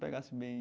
Pegasse bem.